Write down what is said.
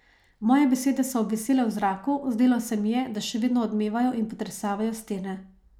Moje besede so obvisele v zraku, zdelo se mi je, da še vedno odmevajo in potresavajo stene.